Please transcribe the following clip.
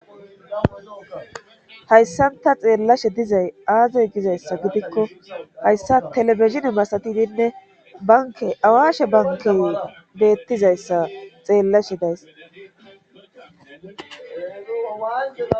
hayssanta xeellashe dizay aazoy gizayssa gidikko hayssa telebesine masatidinne banke awashe bankey beettizayssa xeellashe days